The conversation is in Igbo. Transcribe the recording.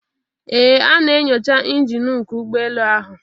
Ee A na-enyocha injin nku ụgbọ elu ahụ